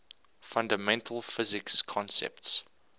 fundamental physics concepts